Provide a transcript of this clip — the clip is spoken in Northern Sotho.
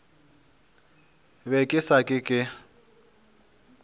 be ke sa ke ke